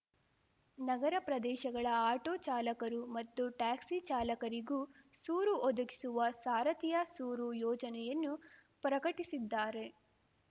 ನಗರ ಪ್ರದೇಶಗಳ ಆಟೋ ಚಾಲಕರು ಮತ್ತು ಟ್ಯಾಕ್ಸಿ ಚಾಲಕರಿಗೂ ಸೂರು ಒದಗಿಸುವ ಸಾರಥಿಯ ಸೂರು ಯೋಜನೆಯನ್ನು ಪ್ರಕಟಿಸಿದ್ದಾರೆ